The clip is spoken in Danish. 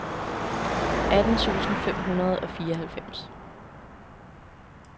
atten tusind fem hundrede og fireoghalvfems